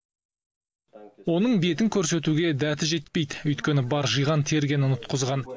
оның бетін көрсетуге дәті жетпейді өйткені бар жиған тергенін ұтқызған